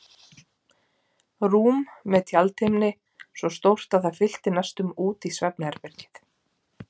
Rúm með tjaldhimni svo stórt að það fyllti næstum út í svefnherbergið.